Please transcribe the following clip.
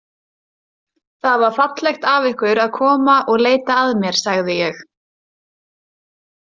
Það var fallegt af ykkur að koma og leita að mér, sagði ég.